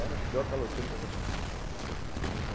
Eras os pior caloteiro que eu já conheci. É